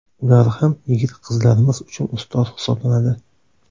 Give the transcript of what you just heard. Ular ham yigit-qizlarimiz uchun ustoz hisoblanadi.